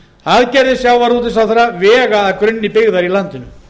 aðgerðir sjávarútvegsráðherra vega að grunni byggðar í landinu